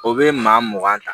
O bɛ maa mugan ta